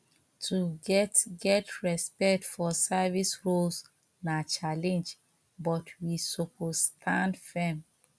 to get get respect for service roles na challenge but we suppose stand firm